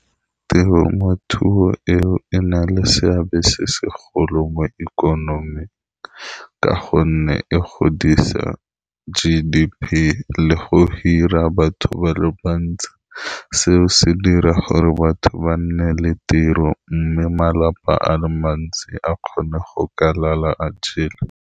Temothuo eo e na le seabe se segolo mo ikonoming, ka gonne e godisa G_D_P le go hira batho ba le bantsi seo se dira gore batho ba nne le tiro, mme malapa a le mantsi a kgone go ka lala a jele.